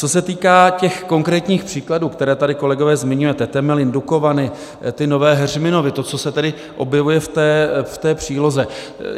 Co se týká těch konkrétních příkladů, které tady, kolegové, zmiňujete - Temelín, Dukovany, ty Nové Heřminovy, to, co se tady objevuje v té příloze.